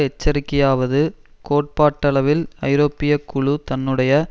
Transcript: எச்சரிக்கையாவது கோட்பாட்டளவில் ஐரோப்பிய குழு தன்னுடைய